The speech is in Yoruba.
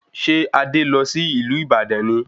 Ṣé Adé lọ sí ìlú Ibadan ni